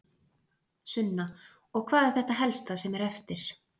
Sunna: Og hvað er þetta helsta sem er eftir?